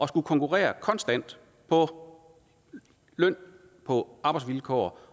skulle konkurrere konstant på løn og på arbejdsvilkår